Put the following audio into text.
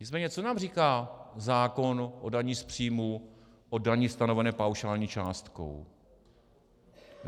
Nicméně co nám říká zákon o dani z příjmů, o dani stanovené paušální částkou?